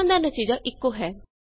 ਦੋਵਾਂ ਦਾ ਨਤੀਜਾ ਇਕੋ ਹੈ